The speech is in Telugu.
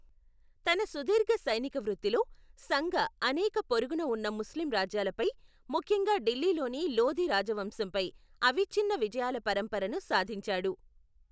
తన సుదీర్ఘ సైనిక వృత్తిలో, సంగ అనేక పొరుగున ఉన్న ముస్లిం రాజ్యాలపై, ముఖ్యంగా ఢిల్లీలోని లోధి రాజవంశంపై అవిచ్చిన్న విజయాల పరంపరను సాధించాడు.